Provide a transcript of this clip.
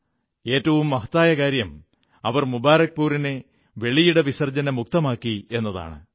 ഏറ്റവും മഹത്തായ കാര്യം അവർ മുബാരക്പുരിനെ വെളിയിട വിസർജ്ജന മുക്തമാക്കി എന്നതാണ്